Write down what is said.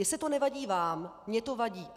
Jestli to nevadí vám, mně to vadí.